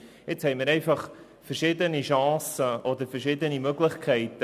Jetzt haben wir einfach verschiedene Chancen oder verschiedene Möglichkeiten.